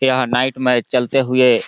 यह नाइट में चलते हुए--